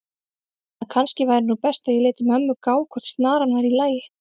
að kannski væri nú best að ég léti mömmu gá hvort snaran væri í lagi.